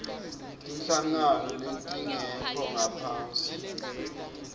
tinhlangano letingekho ngaphasi